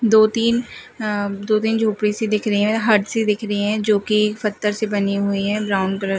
दो तीन हां दो तीन झोपड़ी सी दिख रही हैं हट सी दिख रही हैंजो की पत्थर से बनी हुई हैं ब्राउन कलर --